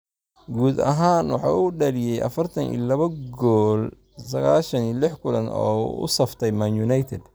Guud ahaan, waxa uu u dhaliyay 42 gool 96 kulan oo uu u saftay Man United.